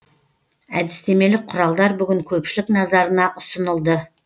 әдістемелік құралдар бүгін көпшілік назарына ұсынылды